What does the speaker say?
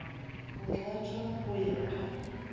go tlatšwa go ya ka